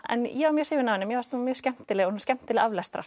en ég var mjög hrifin af henni mér fannst hún mjög skemmtileg og skemmtileg aflestrar